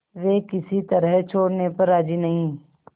वे किसी तरह छोड़ने पर राजी नहीं